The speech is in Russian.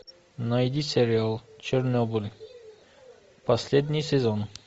найди сериал чернобыль последний сезон